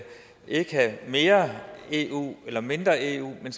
have mere eu eller mindre eu men